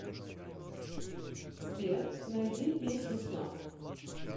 сбер найди песню снафф